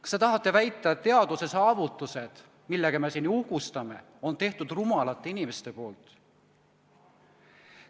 Kas te tahate väita, et teaduse saavutused, millega me siin uhkustame, on teinud rumalad inimesed?